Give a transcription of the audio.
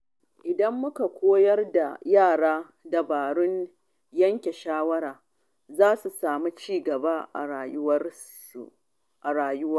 Idan muka koyar da yara dabarun yanke shawara, za su samu ci gaba a rayuwa.